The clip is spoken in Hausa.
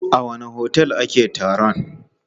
A wanne otel ake taron?